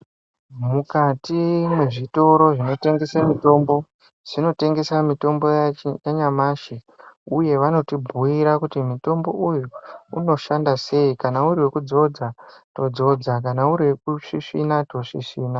Mukati mwezvitoro zvinotengese mitombo zvinotengesa mitombo yacho yanyamashi uye vanoti bhuira kuti mutombo uyu unoshanda sei, kana uri wekudzodza todzodza, kana uri wekusvisvina tosvisvina.